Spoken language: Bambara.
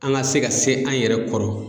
An ka se ka se an yɛrɛ kɔrɔ.